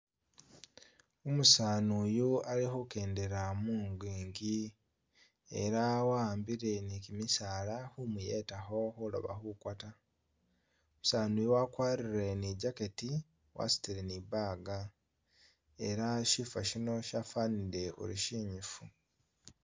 Umusani uyu ali khukendela mungingi ela wahambile ni kimisaala khumuyetakho khuloba khukwa ta umusani uyu wakwarile ni jacketi wasutile ni bag ela shifa shino shafanile uri shinyifu.